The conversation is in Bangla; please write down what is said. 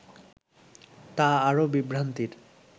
তা আরও বিভ্রান্তির